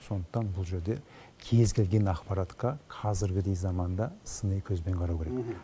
сондықтан бұл жерде кез келген ақпаратқа қазіргідей заманда сыни көзбен қарау керек